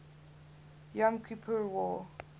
yom kippur war